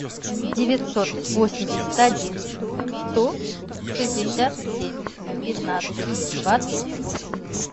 девятьсот восемьдесят один сто шестьдесят семь пятнадцать двадцать восемь